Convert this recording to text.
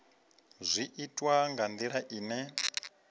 zwi itwa nga ndila ine